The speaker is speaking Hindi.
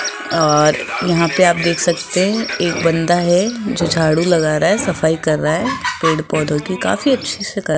और यहां पे आप देख सकते हैं एक बंदा है झाड़ू लगा रहा है सफाई कर रहा है पेड़ पौधों की काफी अच्छे से कर --